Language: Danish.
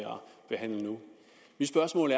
behandle nu mit spørgsmål